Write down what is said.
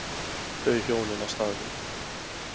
Þau hjónin á staðnum